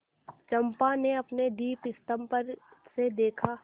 चंपा ने अपने दीपस्तंभ पर से देखा